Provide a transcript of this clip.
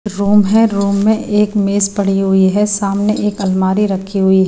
room है room में एक मेज पड़ी हुई है सामने एक अलमारी रखी हुई--